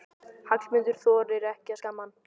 Hallmundur þorir ekki að skamma hann.